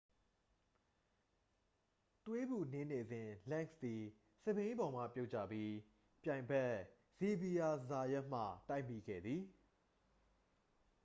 သွေးပူနင်းနေစဉ် လန့်စ်သည် စက်ဘီးပေါ်မှပြုတ်ကျပြီး ပြိုင်ဘက် ဇေဗီယာ ဇာယတ်မှ တိုက်မိခဲ့သည်